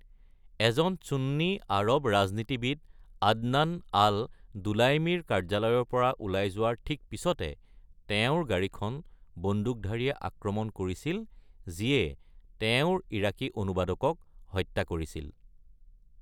এজন চুন্নী আৰৱ ৰাজনীতিবিদ আদনান আল-দুলাইমীৰ কাৰ্যালয়ৰ পৰা ওলাই যোৱাৰ ঠিক পিছতে, তেওঁৰ গাড়ীখন বন্দুকধাৰীয়ে আক্ৰমণ কৰিছিল যিয়ে তেওঁৰ ইৰাকী অনুবাদকক হত্যা কৰিছিল।